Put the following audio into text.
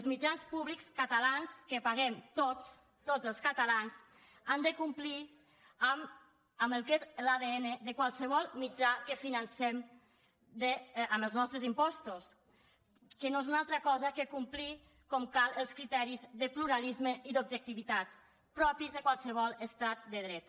els mitjans públics catalans que paguem tots tots els catalans han de complir amb el que és l’adn de qualsevol mitjà que financem amb els nostres impostos que no és una altra cosa que complir com cal els criteris de pluralisme i d’objectivitat propis de qualsevol estat de dret